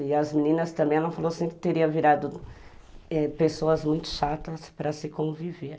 E as meninas também, ela falou assim, que teriam eh virado pessoas muito chatas para se conviver.